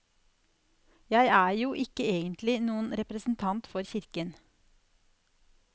Jeg er jo ikke egentlig noen representant for kirken.